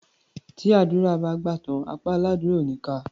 Tí àdúrà bá gbà tán, apá aládúrà ò ní ká a.